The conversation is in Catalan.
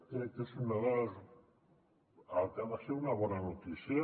crec que és el que ha de ser una bona notícia